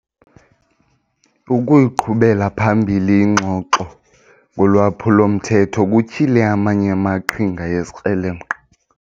Ukuyiqhubela phambili ingxoxo ngolwaphulo-mthetho kutyhile amanye amaqhinga ezikrelemnqa.